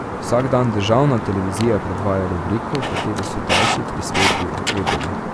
Vsak dan državna televizija predvaja rubriko, v kateri so daljši prispevki o eboli.